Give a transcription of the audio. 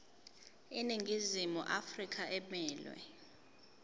iningizimu afrika emelwe